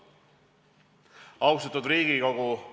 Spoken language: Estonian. Austatud Riigikogu!